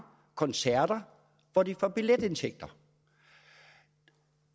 koncerter hvor de får billetindtægter